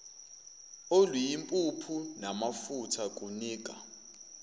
oluyimpuphu namafutha kunika